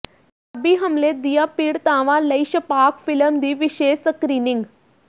ਤੇਜ਼ਾਬੀ ਹਮਲੇ ਦੀਆਂ ਪੀਡ਼ਤਾਵਾਂ ਲਈ ਛਪਾਕ ਫਿਲਮ ਦੀ ਵਿਸ਼ੇਸ਼ ਸਕਰੀਨਿੰਗ